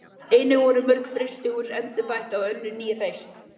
Einnig voru mörg frystihús endurbætt og önnur ný reist.